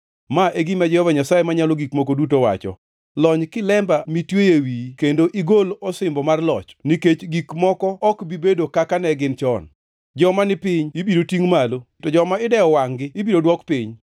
Ma e gima Jehova Nyasaye Manyalo Gik Moko Duto wacho: Lony kilemba mitweyo e wiye kendo igol osimbo mar loch. Nikech gik moko ok bi bedo kaka ne gin chon: Joma ni piny ibiro tingʼ malo, to joma idewo wangʼ-gi ibiro dwok piny.